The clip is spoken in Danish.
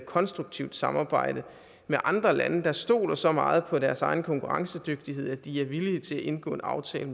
konstruktivt samarbejde med andre lande der stoler så meget på deres egen konkurrencedygtighed at de er villige til at indgå en aftale